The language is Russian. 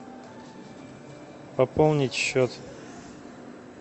пополнить счет